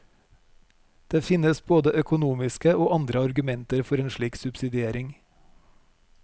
Det finnes både økonomiske og andre argumenter for en slik subsidiering.